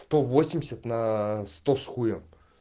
сто восемьдесят на сто с хуем